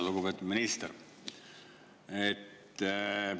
Lugupeetud minister!